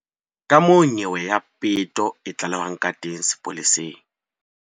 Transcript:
Kamoo nyewe ya peto e tlalehwang ka teng sepoleseng.